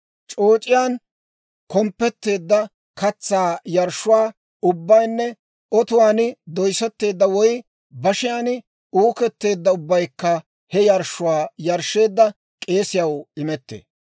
C'ooc'iyaan komppetteedda katsaa yarshshuwaa ubbaynne otuwaan doyssetteedda woy bashiyaan uuketteedda ubbaykka he yarshshuwaa yarshsheedda k'eesiyaw imettee.